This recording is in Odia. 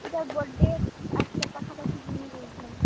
ଇଟା birthday ଆସ୍ ଲେ ପାଖା ପାଖି ଯିମି ବୋଲୁଛେଁ।